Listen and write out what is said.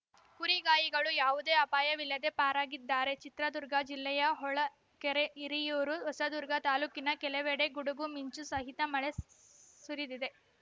ಕುರಿಗಾಯಿಗಳು ಯಾವುದೇ ಅಪಾಯವಿಲ್ಲದೆ ಪಾರಾಗಿದ್ದಾರೆ ಚಿತ್ರದುರ್ಗ ಜಿಲ್ಲೆಯ ಹೊಳ ಕೆರೆ ಹಿರಿಯೂರು ಹೊಸದುರ್ಗ ತಾಲೂಕಿನ ಕೆಲವೆಡೆ ಗುಡುಗು ಮಿಂಚು ಸಹಿತ ಮಳೆ ಸು ಸುರಿದಿದೆ